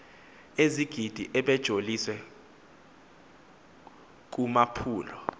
ezigidi ebejoliswe kumaphulo